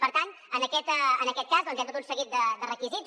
per tant en aquest cas doncs hi han tot un seguit de requisits